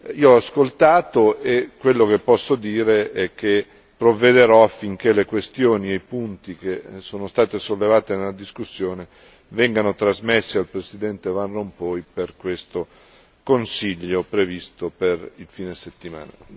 Io ho ascoltato e quello che posso dire è che provvederò affinché le questioni e i punti che sono stati sollevati nella discussione vengano trasmessi al Presidente van Rompuy per questo Consiglio previsto per il fine settimana.